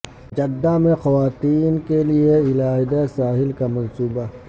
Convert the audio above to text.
Jeddah میں خواتین کے لیے علیحدہ ساحل کا منصوبہ